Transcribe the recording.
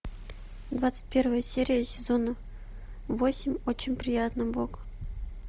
двадцать первая серия сезона восемь очень приятно бог